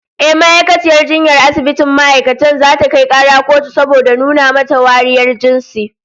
Ehh, ma'aikaciyar jinyar asibitin ma'aikatan zata kai kara kotun saboda nuna mata wariyar jinsi